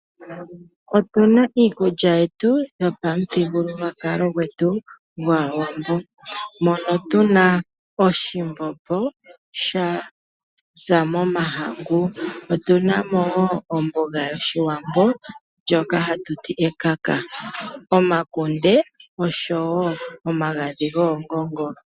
Otu na iikulya yetu yopamuthigululwakalo gwetu gwaawambo mono tu na oshimbombo shaza momahangu, otu na mo wo omboga yoshiwambo ndjoka hatu ti ekaka, omakunde oshowo omagadhi goongongo.